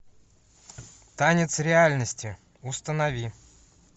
танец реальности установи